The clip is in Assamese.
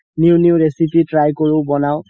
new new recipe try কৰো বনাও